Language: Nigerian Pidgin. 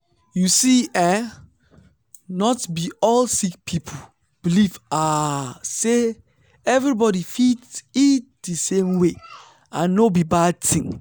you see eh not be all sick people believe ah say everybody fit eat di same way and no be bad tin.